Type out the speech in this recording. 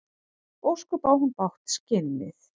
Ósköp á hún bágt, skinnið.